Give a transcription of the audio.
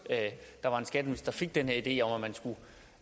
der var en skatteminister der fik den her idé om